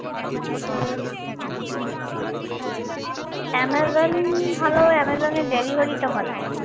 Amazon ভালো অ্যামাজনের delivery টা ভালো